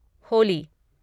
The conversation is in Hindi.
होली